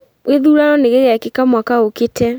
Gĩthurano nĩgĩgekĩka mwaka ĩkĩte